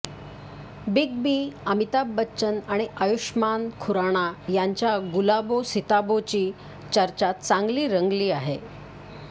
big B Amitabh Bachchan आणि आयुष्मान खुराणा यांच्या गुलाबो सिताबोची चर्चा चांगली रंगली आहे